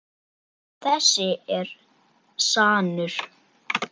Þessi er sannur.